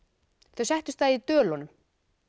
þau settust að í Dölunum